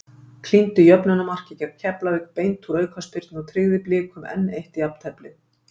Klíndi jöfnunarmarki gegn Keflavík beint úr aukaspyrnu og tryggði Blikum enn eitt jafnteflið.